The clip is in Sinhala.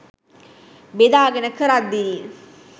බෙදාගෙන කරද්දි